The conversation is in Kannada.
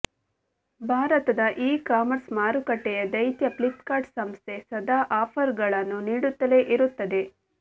ಭಾರತದ ಇ ಕಾಮರ್ಸ್ ಮಾರುಕಟ್ಟೆಯ ದೈತ್ಯ ಫ್ಲಿಪ್ಕಾರ್ಟ್ ಸಂಸ್ಥೆ ಸದಾ ಆಫರ್ಗಳನ್ನು ನೀಡುತ್ತಲೇ ಇರುತ್ತದೆ